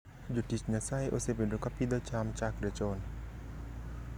Jotich Nyasaye osebedo ka pidho cham chakre chon.